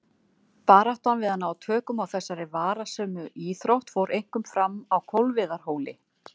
Baráttan við að ná tökum á þessari varasömu íþrótt fór einkum fram á Kolviðarhóli.